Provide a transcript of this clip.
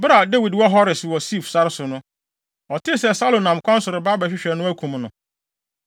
Bere a Dawid wɔ Hores wɔ Sif sare so no, ɔtee sɛ Saulo nam kwan so reba hɔ abɛhwehwɛ no akum no.